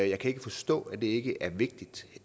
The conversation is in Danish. jeg kan ikke forstå at det ikke er vigtigt